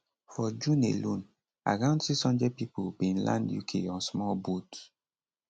for june alone around 600 pipo bin land uk on small boats